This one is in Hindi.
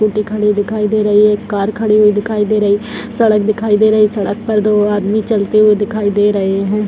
दिखाई दे रही है कार खड़े हुई दिखाई दे रही सड़क दिखाई दे रही सड़क पर दो आदमी चलते हुए दिखाई दे रहे हैं।